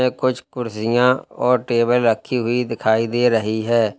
ये कुछ कुर्सियां और टेबल रखी हुई दिखाई दे रही हैं।